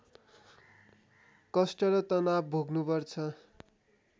कष्ट र तनाव भोग्नुपर्छ